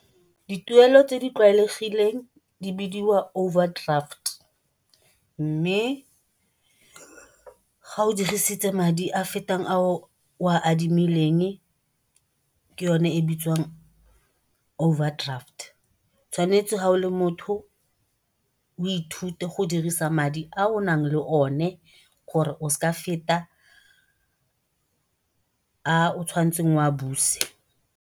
Dituelo tse di tlwaelegileng di bidiwa overdraft mme ga o dirisitse madi a fetang a o a adimileng ke yone e bitswang overdraft. Tshwanetse ga o le motho o ithute go dirisa madi a o na leng o ne gore o seke wa feta a o tshwanetseng wa buse.